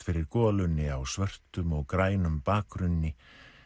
fyrir golunni á svörtum og grænum bakgrunni